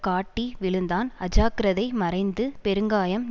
காட்டி விழுந்தான் அஜாக்கிரதை மறைந்து பெருங்காயம்